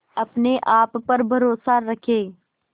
अपने आप पर भरोसा रखें